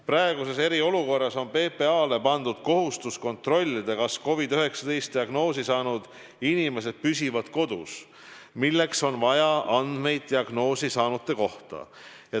Praeguses eriolukorras on PPA-le pandud kohustus kontrollida, kas COVID-19 diagnoosi saanud inimesed püsivad kodus, ja selleks on vaja andmeid diagnoosi saanute kohta.